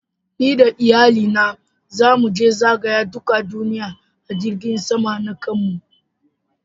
Ni da Iyalli na zamu je zagaya dukan duniyyan a jirigin sama na kanmu.